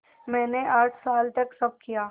मैंने आठ साल तक सब किया